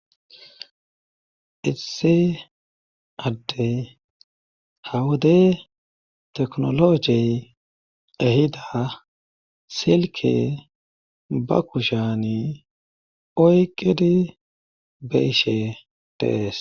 Issi adde hawodey teknologey ehida silke ba kushani oyqidi be7ishe de7ees.